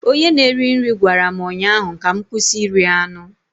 Onye na-eri nri gwara m ụnyaahụ ka m kwụsị iri anụ